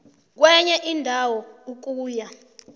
kwenye indawo ukuya